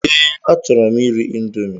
Ee, achọrọ m iri índomi